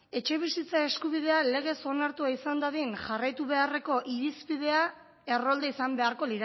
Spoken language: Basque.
etxebizitza eskubidea legez onartua izan dadin jarraitu beharreko irizpidea errolda izan beharko